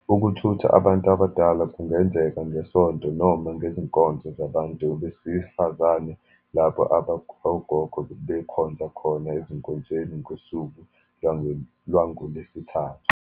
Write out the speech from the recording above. Ukuthutha abantu abadala kungenzeka ngeSonto, noma ngezinkonzo zabantu besifazane lapho ogogo bekhonza khona ezinkonzweni ngosuku lwangoLwesithathu.